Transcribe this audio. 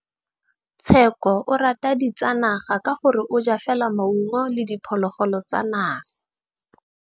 Tshekô o rata ditsanaga ka gore o ja fela maungo le diphologolo tsa naga.